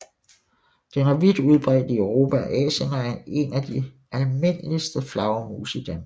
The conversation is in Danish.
Den er vidt udbredt i Europa og Asien og er en af de almindeligste flagermus i Danmark